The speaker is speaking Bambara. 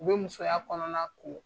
U bɛ musoya kɔnɔna ko.